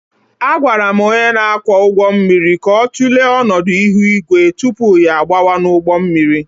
Agwara m onye na-akwọ ụgbọ mmiri ka ọ tụlee ọnọdụ ihu igwe tupu ya agbawa n'ụgbọ mmiri